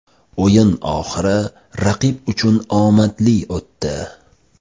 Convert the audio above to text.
O‘yin oxiri raqib uchun omadli o‘tdi.